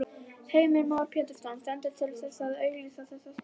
Heimir Már Pétursson: Stendur til að auglýsa þessa stöðu?